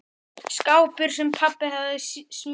Skápur, sem pabbi hafði smíðað.